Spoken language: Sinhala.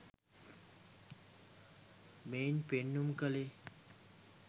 මෙයින් පෙන්නුම් කළේ